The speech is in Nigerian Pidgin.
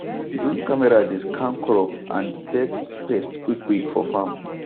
drone camera dey scan crop and detect pest quickquick for farm